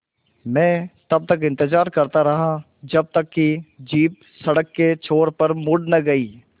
मैं तब तक इंतज़ार करता रहा जब तक कि जीप सड़क के छोर पर मुड़ न गई